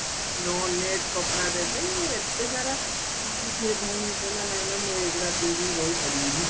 net କପଡା ଦେବେ ଏତେ ସାରା ସିଏ ଭଉଣୀ କହିଲା ନା ନା ମୁଁ ଏଗୁଡା ପିନ୍ଧିକି ରହିପାରିବିନି